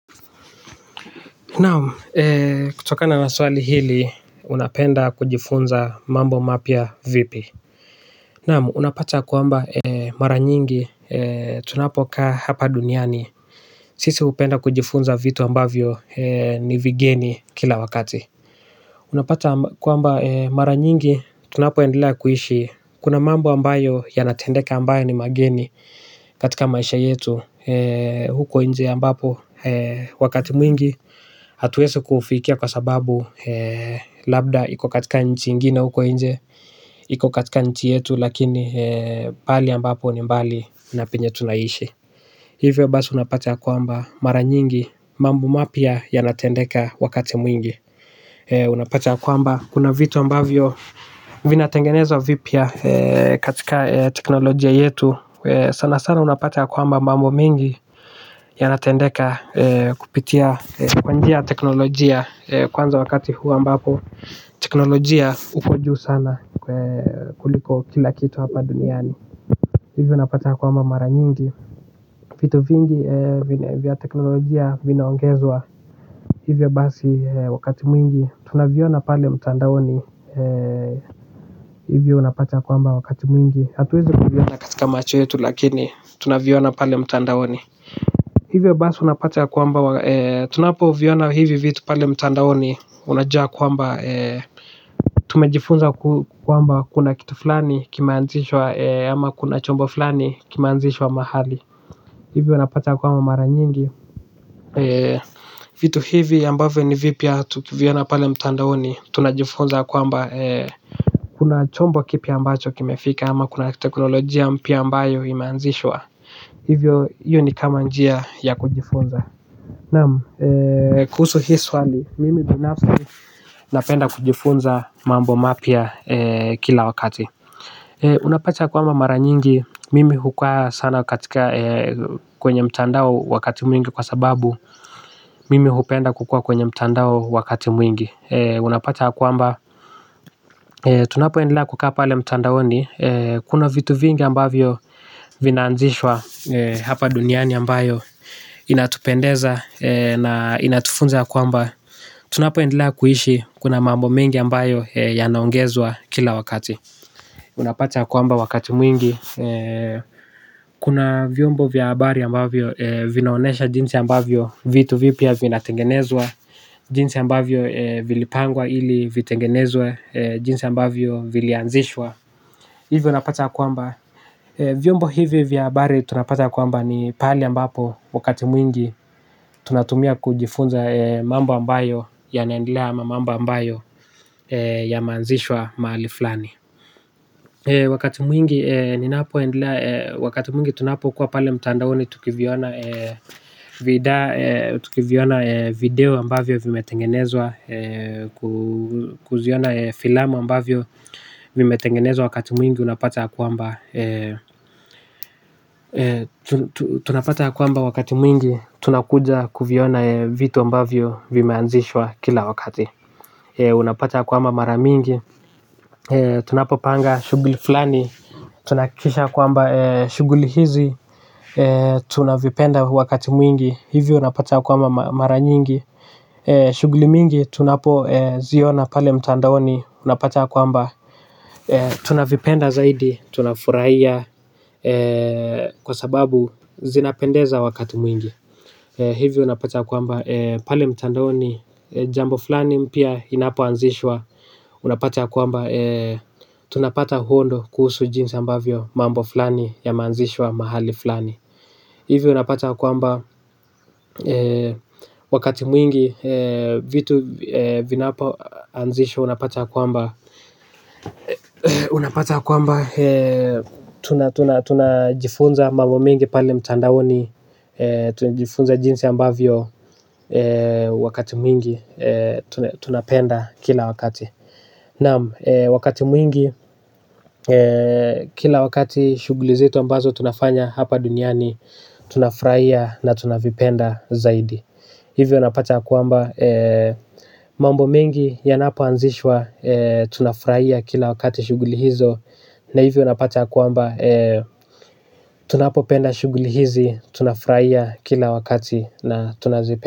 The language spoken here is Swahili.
Naam kutokana na swali hili unapenda kujifunza mambo mapya vipi. Naam unapata kwamba mara nyingi tunapokaa hapa duniani. Sisi hupenda kujifunza vitu ambavyo ni vigeni kila wakati unapata kwamba mara mingi tunapoendelea kuishi kuna mambo ambayo yana tendeka ni mageni katika maisha yetu huko nje ambapo wakati mwingi hatuwezi kufikia kwa sababu labda iko katika nchi ingine huko nje iko katika nchi yetu lakini pahali ambapo ni mbali na penye tunaishi hivyo basi unapata ya kwamba mara nyingi mambo mapya yanatendeka wakati mwingi unapata ya kwamba kuna vitu ambavyo vina tengenezwa vipya katika teknolojia yetu sana sana unapata ya kwamba mambo mingi. Yanatendeka kupitia kwa njia teknolojia kwanza wakati huu ambapo teknolojia uko juu sana kuliko kila kitu hapa duniani. Hivyo unapata ya kwamba mara nyingi. Vitu vingi vya teknolojia vinaongezwa hivyo basi wakati mwingi tunaviona pale mtandaoni hivyo unapata ya kwamba wakati mwingi hatuwezi kuviona katika macho yetu lakini tunaviona mtandaoni. Hivyo basi unapata ya kwamba tunapoviona hivi vitu pale mtandaoni unajua kwamba tumejifunza kwamba kuna kitu fulani kimeanzishwa ama kuna chombo fulani kimeanzishwa mahali. Hivyo unapata ya kwamba mara nyingi vitu hivi ambavyo ni vipya tukiviona pale mtandaoni tunajifunza kwamba kuna chombo kipya ambacho kimefika ama kuna teknolojia mpya ambayo imeanzishwa hio ni kama njia ya kujifunza naam eeh kuhusu hii swali mimi kibinafsi napenda kujifunza mambo mapywa kila wakati. Unapata kwamba mara nyingi, mimi hukaa sana katika kwenye mtandao wakati mwingi kwa sababu mimi hupenda kukua kwenye mtandao wakati mwingi. Unapata kwamba, tunapo endelea kuka apale mtandaoni kuna vitu vingi ambavyo vina anzishwa hapa duniani ambayo inatupendeza na inatufunza kwamba tunapo endelea kuishi kuna mambo mengi ambayo yanaongezwa kila wakati. Unapata kwamba wakati mwingi. Kuna vyombo vya habari ambavyo vinaonesha jinsi ambavyo vitu vipya vina tengenezwa. Jinsi ambavyo vilipangwa ili vitengenezwa. Jinsi ambavyo vilianzishwa. Hivyo unapata kwamba vyombo hivi vya habari tunapata kwamba ni pali ambapo wakati mwingi tunatumia kujifunza mambo ambayo yanaendelea ama mambo ambayo yameaanzishwa mahali fulani. Wakati ninapoendelea mwingi tunapokuwa pale mtandaoni tukiziona tukiziona video ambavyo vimetengenezwa. Kuziona filamu ambavyo vimetengenezwa wakati mwingi unapata ya kwamba tunapata ya kwamba wakati mwingi tunakuja kuviona vitu ambavyo vimeanzishwa kila wakati. Unapata kwamba mara mingi tunapopanga shughuli fulani tunahakikisha ya kwamba shughuli hizi. Tunavipenda wakati mwingi. Hivyo unapata ya kwamba mara nyingi shughuli mingi tunapo ziona pale mtandaoni. Unapata ya kwamba tunavipenda zaidi. Tunafurahia kwasababu zinapendeza wakati mwingi hivyo unapata kwamba pale mtandaoni jambo fulani mpya inapo anzishwa unapata ya kwamba tunapata kuona kujua jinsi mambo fulani yameanzishwa mahali fulani hivyo unapata ya kwamba wakati mwingi vitu vinapo anzishwa unapata kwamba unapata kwamba tunajifunza mambo mingi pale mtandaoni. Tunajifunza jinsi ambavyo wakati mwingi tunapenda kila wakati. Naam wakati mwingi kila wakati shuguli zetu ambazo tunafanya hapa duniani. Tunafurahia na tunavipenda zaidi. Hivyo unapata kwamba mambo mingi yanapo anzishwa tunafurahia kila wakati shughuli hizo na hivyo unapata kwamba tunapopenda shughuli hizi tunafurahia kila wakati na tunazipenda.